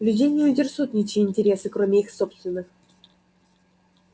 людей не интересуют ничьи интересы кроме их собственных